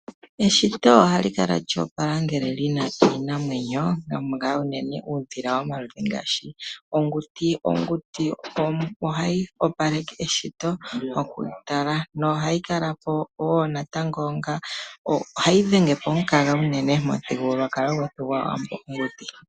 Eshito ohalikala lyoopala ngele lina iinamwenyo tamukala unene uudhila womaludhi ngaashi onguti, onguti ohayi opaleke eshito okutala na ohayi kala po wo natango onga, ohayi dhenge po omukaga unene momuthigululwakalo gwetu gwawambo onguti.